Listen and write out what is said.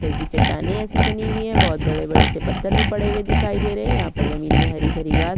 तरह की चट्टाने एसी बनी हुई है बहोत बड़े-बड़े से पत्थर भी पड़े हुए दिखाई दे रहै है यहाँ पर जमीन मे हरी-भरी घास--